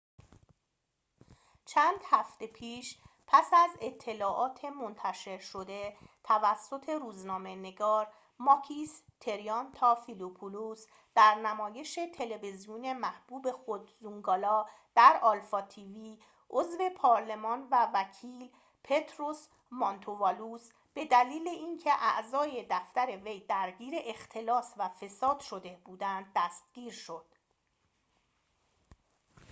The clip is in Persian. چند هفته پیش پس از اطلاعات منتشر شده توسط روزنامه نگار ماکیس تریانتافیلوپولوس در نمایش تلویزیونی محبوب خود زونگالا در آلفا تی وی عضو پارلمان و وکیل پطروس مانتووالوس به دلیل اینکه اعضای دفتر وی درگیر اختلاس و فساد شده بودند دستگیر شد